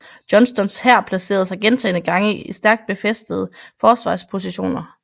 Johnstons hær placerede sig gentagne gange i stærkt befæstede forsvarspositioner